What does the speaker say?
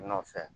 Nɔfɛ